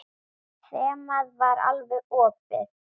Þemað var alveg opið.